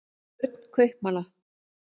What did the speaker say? börn kaupmanna